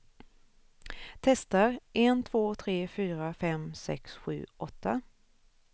Testar en två tre fyra fem sex sju åtta.